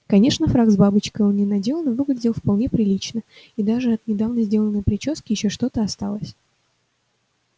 конечно фрак с бабочкой он не надел но выглядел вполне прилично и даже от недавно сделанной причёски ещё что-то осталось